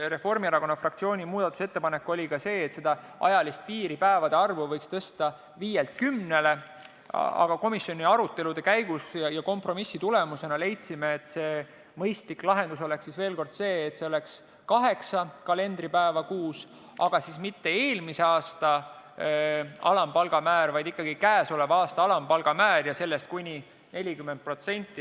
Reformierakonna fraktsiooni üks muudatusettepanek oli ka see, et seda ajalist piiri, päevade arvu, võiks tõsta viielt kümnele, aga komisjoni arutelude käigus ja kompromissi tulemusena leidsime, et mõistlik lahendus oleks kaheksa kalendripäeva kuus, aga mitte eelmise aasta alampalga määr, vaid ikkagi käesoleva aasta alampalga määr ja sellest kuni 40%.